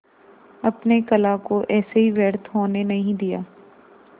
अपने कला को ऐसे ही व्यर्थ होने नहीं दिया